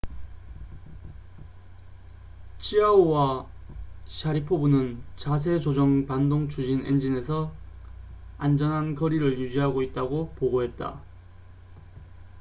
치아오와 샤리포브는 자세 조정 반동 추진 엔진에서 안전한 거리를 유지하고 있다고 보고했다